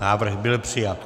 Návrh byl přijat.